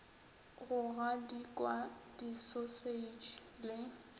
go gadikwa di sausage le